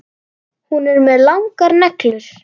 Hún er með langar neglur.